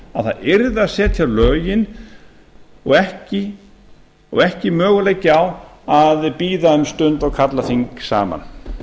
að það yrði að setja lögin og ekki möguleiki á að bíða um stund og kalla þing saman